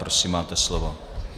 Prosím, máte slovo.